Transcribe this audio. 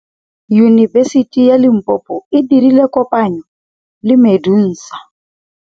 Yunibesiti ya Limpopo e dirile kopanyô le MEDUNSA.